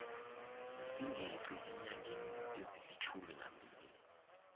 singeqi eenyangeni ezilitjhuminambili